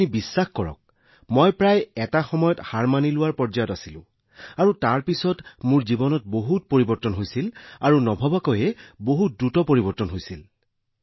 মন কী বাতত উল্লেখ কৰাৰ পিছত বিশ্বাস কৰক মহাশয় যে মই সেই সময়ত প্ৰায় এৰি দিয়াৰ পৰ্যায়ত আছিলো আৰু তাৰ পিছত মোৰ জীৱনলৈ যথেষ্ট পৰিৱৰ্তন আহিছিল আৰু তাৰ পিছত ই ইমান দ্ৰুত গতিত আগবাঢ়িছিল যিটো আমাৰ বোধগম্যতাৰ বাহিৰত আছিল